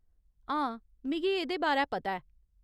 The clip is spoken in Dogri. हां, मिगी एह्‌दे बारै पता ऐ।